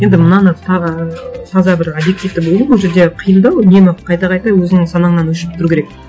енді мынаны тағы таза бір объективті болу бұл жерде қиындау үнемі қайта қайта өзіңнің санаңнан өршіп тұру керек